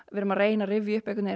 við erum að reyna að rifja upp